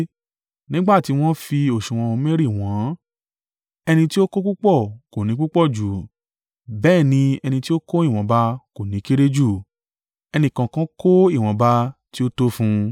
Nígbà tí wọ́n fi òsùwọ̀n omeri wọ̀n-ọ́n, ẹni tí ó kó púpọ̀ kò ní púpọ̀ jù, bẹ́ẹ̀ ni ẹni tí ó kó ìwọ̀nba kò ní kéré jù. Ẹnìkọ̀ọ̀kan kó ìwọ̀nba ti ó tó fún un.